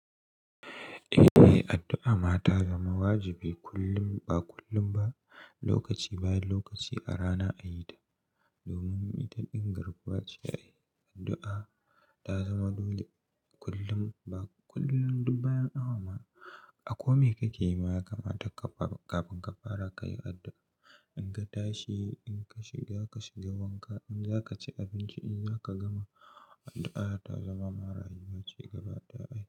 Eh, addu'a ma ta zama wajibi kullum ba kullum ba, lokaci bayan lokaci a rana a yi ta. Domin ita din garkuwa ce ai addu'a ta zama dole kullum ba kullum ba bayan awama. A kome kake yi ma ya kamata ka faro kafin ka fara ka yi addu'a. In ka tashi, in ka shiga ka shiga wanka, in za ka ci abinci, in za ka gama addu'a ta zama ma rayuwa ce gaba daya ai.